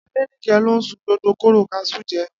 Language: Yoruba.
Adenike ló sun gbogbo kóró kaṣú je